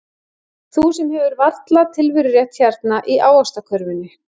Þú sem hefur varla tilverurétt hérna í ávaxtakörfunni.